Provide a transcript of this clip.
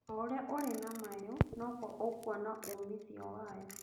Oũrĩa ũrĩ na mayũ noguo ũkuona umithio wayo